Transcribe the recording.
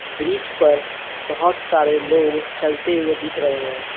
Bridge पर बहोत सारे लोग चलते हुए दिख रहे है।